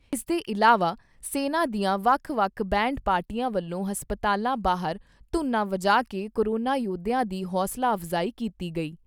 ਇਸਦੇ ਇਲਾਵਾ ਸੈਨਾ ਦੀਆਂ ਵੱਖ ਵੱਖ ਬੈਂਡ ਪਾਰਟੀਆਂ ਵੱਲੋਂ ਹਸਪਤਾਲਾਂ ਬਾਹਰ ਧੁਨਾ ਵਜਾ ਕੇ ਕੋਰੋਨਾ ਯੋਧਿਆਂ ਦੀ ਹੋਸਲਾ ਅਫਜਾਈ ਕੀਤੀ ਗਈ।